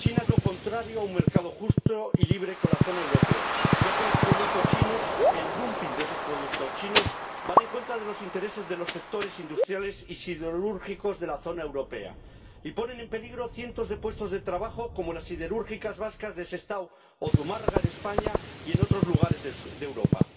China es lo contrario a un mercado justo y libre con la zona europea, ya que los productos chinos —el dumping de esos productos chinos— van en contra de los intereses de los sectores industriales y siderúrgicos de la zona europea y ponen en peligro cientos de puestos de trabajo, como las siderúrgicas vascas de Sestao o Zumárraga en España y en otros lugares de Europa.